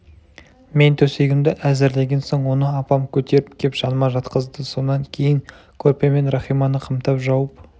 мен төсегімді әзірлеген соң оны апам көтеріп кеп жаныма жатқызды сонан кейін көрпемен рахиманы қымтап жауып